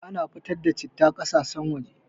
Ana fitar da citta ƙasashen waje